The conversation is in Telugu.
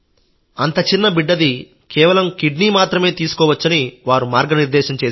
అంతచిన్న బిడ్డది కేవలం కిడ్నీ మాత్రమే తీసుకోవచ్చని వారు మార్గనిర్దేశం చేశారు